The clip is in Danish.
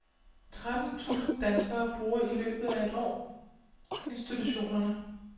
Tretten tusind danskere bruger i løbet af et år institutionerne.